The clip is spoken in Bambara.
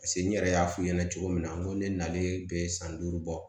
Paseke n yɛrɛ y'a f'i ɲɛna cogo min na n ko ne nalen bɛ san duuru bɔ